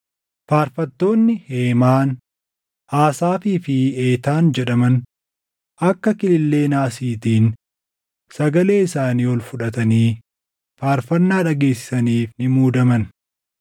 Faarfattoonni Heemaan, Asaafii fi Eetaan jedhaman akka kilillee naasiitiin sagalee isaanii ol fudhatanii faarfannaa dhageessisaniif ni muudaman;